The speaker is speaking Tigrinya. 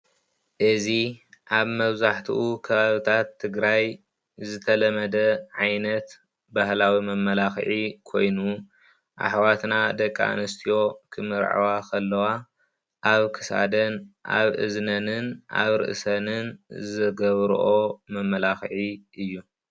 እዚ አብ መብዛሕቲኡ ከባቢታት ትግራይ ዝተለመደ ዓይነት ባህላዊ መመላኽዒ ኮይኑ አሕዋትና ደቂ አንስትዮ ክምርዐዋ ከለዋ ኣብ ክሳደን ፣ኣብ እዝነንን፣ አብ ርእሰንን ዝገብርኦ መመላኽዒ እዪ።